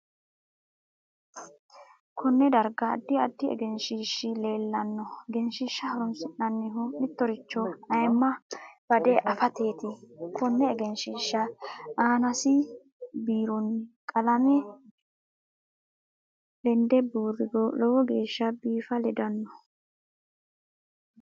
KOnne darga addi addi egenshiishi leelanno egenshiisha horoonsinanihu mitoricho ayiima bade afateeti konne egenshiisha aanasibiirooni qalame lede buuriro lowo geesha biifa ledanno